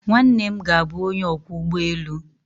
Nwanne m ga-abụ onye ọkwọ ụgbọ elu